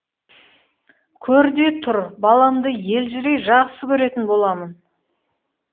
көр де тұр баламды елжірей жақсы көретін боламын